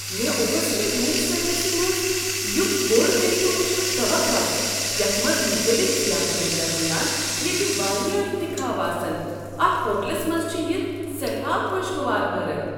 مےٚ اوس نہٕ روٗم سروِسہِ منز یٗتھ بوڈ مینوٗ وٕچھنُک توقع یتھ منز مختلِف ضِیافتن درمِیان ییٚتہِ وارِیاہ انتخاب آسن۔ اتھ ہوٹلس منٛز چھ یہ سیٹھاہ خوشگوار حٲرت۔